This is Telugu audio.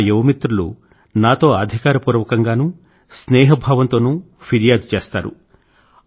నా యువ మిత్రులు నాతో అధికార పూర్వకం గానూ స్నేహభావం తోనూ ఫిర్యాదు చేస్తారు